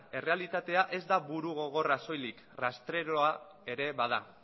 errealitatea ez da burugogorra soilik rastreroa ere bada